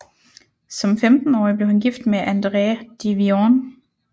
Som 15årig blev han gift med Andrée de Vivonne